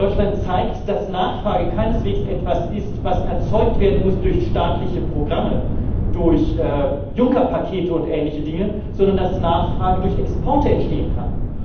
Deutschland zeigt, dass Nachfrage keineswegs etwas ist, was erzeugt werden muss durch staatliche Programme, durch Juncker Pakete und ähnliche Dinge, sondern dass Nachfrage durch Exporte entstehen kann.